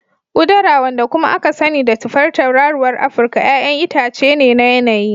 Udara, wanda kuma aka sani da tufar tauraruwar Afirka, 'ya'yan itace ne na yanayi.